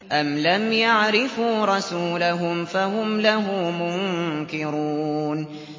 أَمْ لَمْ يَعْرِفُوا رَسُولَهُمْ فَهُمْ لَهُ مُنكِرُونَ